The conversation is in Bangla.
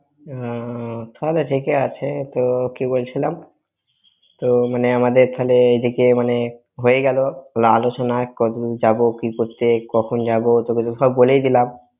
হ্যাঁ, হ্যাঁ তাহলে ঠিক এই আছে, তো কি বলছিলাম। তো মানে আমাদের তাহলে এদিকে, মানে হয়েই গেল আলোচনা কবে যাব, কি করতে, কখন যাব, তোকে তো সব বলেই দিলাম।